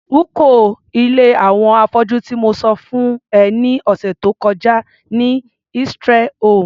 rúko ilé àwọn afọ́jú tí mo sọ fún ẹ ní ọ̀sẹ̀ tó kọjá ni Israel home.